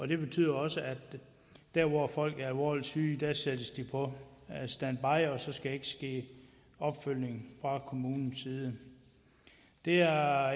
det betyder også at når folk er alvorligt syge sættes de på standby og så skal der ikke ske opfølgning fra kommunens side det er